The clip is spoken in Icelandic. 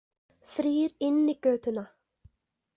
Þrír inn í götuna.